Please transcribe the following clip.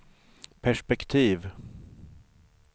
perspektiv